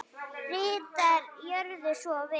Ritari Gjörðu svo vel.